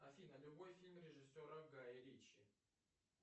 афина любой фильм режиссера гая ричи